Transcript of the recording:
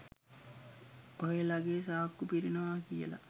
ඔහේලගේ සාක්කු පිරෙනවා කියලා